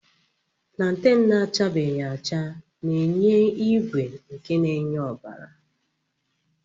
Planten na-achabeghi acha na-enye ígwè nke na-enye ọbara.